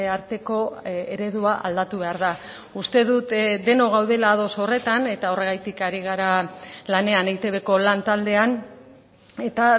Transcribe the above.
arteko eredua aldatu behar da uste dut denok gaudela ados horretan eta horregatik ari gara lanean eitbko lan taldean eta